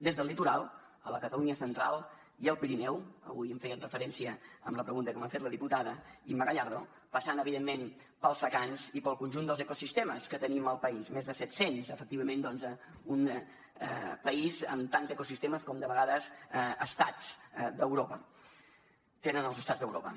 des del litoral a la catalunya central i el pirineu avui hi fèiem referència amb la pregunta que m’ha fet la diputada imma gallardo passant evidentment pels secans i pel conjunt dels ecosistemes que tenim al país més de set cents efectivament doncs un país amb tants ecosistemes com de vegades tenen els estats d’europa